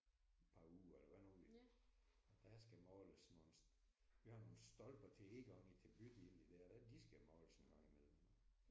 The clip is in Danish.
Et par uger eller hvad nu vi. Der skal måles nogle. Vi har nogle stolper til indgangen til bydelen der da de skal måles engang i mellem